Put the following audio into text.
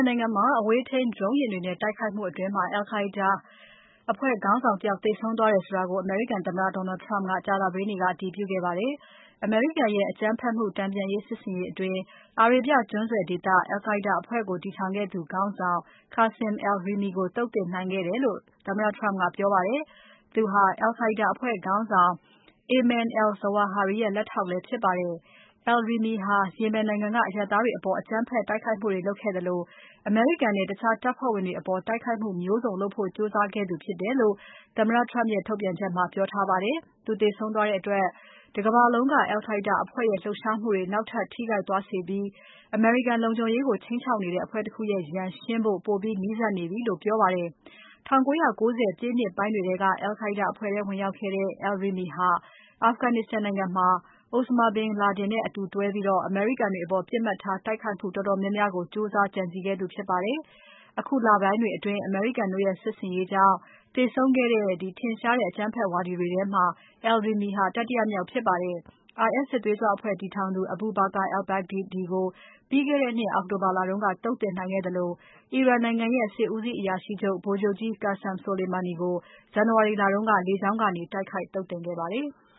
နိုင်ငံမှာ အဝေးထိန်း Drone ယာဉ်တွေနဲ့တိုက်ခိုက်မှုအတွင်း al-Qaida ခေါင်းဆောင်တယောက်သေဆုံးသွားတယ်ဆိုတာကို အမေရိကန်သမ္မတ Donald Trump ကကြာသပတေးနေ့က အတည်ပြုခဲ့ပါတယ်။ အမေရိကန်ရဲ့ အကြမ်းဖက်မှုတန်ပြန် စစ်ဆင်ရေးအတွင်း အာရေဗျကျွန်းဆွယ်ဒေသ al-Qaida အဖွဲ့ကို တည်ထောင်ခဲ့သူ ခေါင်းဆောင် Qasim al-Rimi ကို သုတ်သင်နိုင်ခဲ့တယ်လို့ သမ္မတ Trump ကပြောပါတယ်။ သူဟာ al-Qaida အဖွဲ့ခေါင်းဆောင် Ayman al-Zawahiri ရဲ့လက်ထောက်လည်းဖြစ်ပါတယ်။ al-Rimi ဟာ Yemen နိုင်ငံက အရပ်သားတွေအပေါ် အကြမ်းဖက် တိုက်ခဲ့မှုတွေလုပ်ခဲ့သလို၊ အမေရိကန်နဲ့ တခြားတပ်ဖွဲ့ဝင်တွေအပေါ် တိုက်ခိုက်မျိုးစုံလုပ်ဖို့ ကြိုးစားခဲ့သူဖြစ်တယ်လို့ သမ္မတ Trump ရဲ့ထုတ်ပြန်ချက်မှာ ပြောထားပါတယ်။ သူသေဆုံးသွားတဲ့အတွက် တကမ္ဘာလုံးက al-Qa’ida အဖွဲ့ရဲ့လှုပ်ရှားမှုတွေု နောက်ထပ်ထိခိုက်သွားစေပြီး အမေရိကန်လုံခြုံရေးကို ခြိမ်းခြောက်နေတဲ့အဖွဲ့တခုရဲ့ ရန်ရှင်းဖို့ ပိုပြီးနီးစပ်နေပြီလို့ ပြောပါတယ်။ ၁၉၉၀ ပြည့်နှစ်ပိုင်းတွေထဲက al-Qaida အဖွဲ့ထဲ ဝင်ရောက်ခဲ့တဲ့ al-Rimi ဟာ Afghanistan နိုင်ငံမှာ Osama bin Laden နဲ့အတူတွဲပြီး အမေရိကန်တွေအပေါ် ပစ်မှတ်ထားတိုက်ခိုက်မှုတော်တော်များများကို ကြိုးစား ကြံစည်ခဲ့သူဖြစ်ပါတယ်။ အခုလပိုင်းတွေအတွင်း အမေရိကန်တို့ရဲ့ စစ်ဆင်ရေးကြောင့် သေဆုံးခဲ့တဲ့ ထင်ရှားတဲ့အကြမ်းဖက်ဝါဒီတွေထဲမှာ al-Rimi ဟာ တတိယမြောက်ဖြစ်ပါတယ်။ IS စစ်သွေးကြွအဖွဲ့တည်ထောင်သူ Abu Bakr al-Baghdadi ကို အောက်တိုဘာလတုန်းက သုတ်သင်နိုင်ခဲ့သလို အီရန်နိုင်ငံရဲ့ စစ်ဦးစီးအရာရှိချုပ် ဗိုလ်ချုပ်ကြီး Qassem Soleimani ကို ဇန်နဝါရီလက လေကြောင်းကနေ တိုက်ခိုက် သုတ်သင်ခဲ့ပါတယ်။